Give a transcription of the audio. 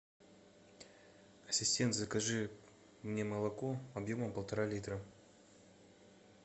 ассистент закажи мне молоко объемом полтора литра